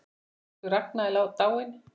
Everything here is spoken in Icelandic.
Elsku Ragna er dáin.